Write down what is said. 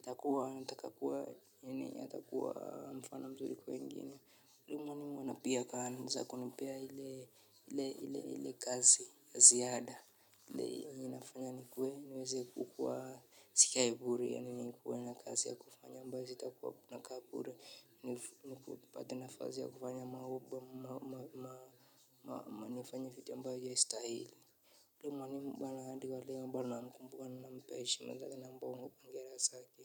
Atakuwa nataka kuwa nini, atakuwa mfano mzuri kwa wengini. Elimu ama na pia akaanza kunipea ili kazi ya ziada. Ile inafanya nikuwe, niweze kukuwa sikai bure yani nikuwe na kazi ya kufanya ambayo sitakuwa nakaa bure. Nipate nafasi ya kufanya mambo ama ufanye vitu ambavyo haistahili. Huyo mwalimu mara hadi wa leo bado namkumbuka ninampea heshima zake na hongera safi.